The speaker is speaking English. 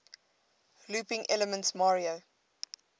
looping elements mario